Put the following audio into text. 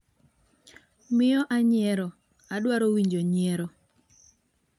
miyo anyiero, adwaro winjo nyiero